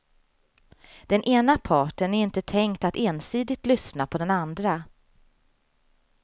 Den ena parten är inte tänkt att ensidigt lyssna på den andra.